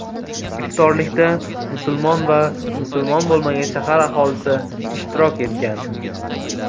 Iftorlikda musulmon va musulmon bo‘lmagan shahar aholisi ishtirok etgan.